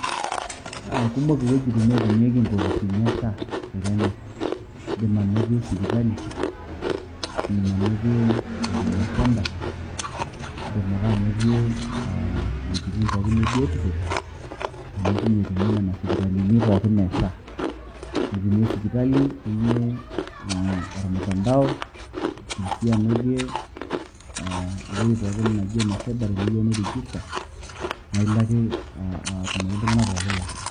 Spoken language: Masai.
Ah kumok iwuejiting naatumieki inkopisini e SHA te kenya. Iidim anotie sipitali, idim anotie huduma centre ,idim ake anotie ah iwuejiting pookin ebiotisho. Amu teine etumi nena sipitalini pookin e SHA. Itumie sipitali, itumie eh ormutandao, iidim si anotie eh ewueji pookin naji ene cyber teneyieu nirijista. Na ilo ake atumore iltung'anak pookin le SHA.